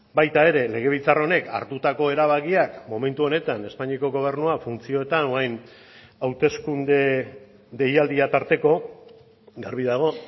baita ere legebiltzar honek hartutako erabakiak momentu honetan espainiako gobernua funtzioetan orain hauteskunde deialdia tarteko garbi dago